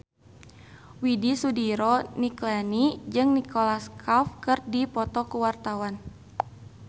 Widy Soediro Nichlany jeung Nicholas Cafe keur dipoto ku wartawan